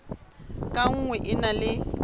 ka nngwe e na le